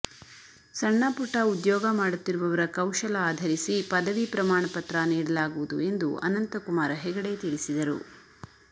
ಸಣ್ಣ ಪುಟ್ಟ ಉದ್ಯೋಗ ಮಾಡುತ್ತಿರುವವರ ಕೌಶಲ ಆಧರಿಸಿ ಪದವಿ ಪ್ರಮಾಣ ಪತ್ರ ನೀಡಲಾಗುವುದು ಎಂದು ಅನಂತಕುಮಾರ ಹೆಗಡೆ ತಿಳಿಸಿದರು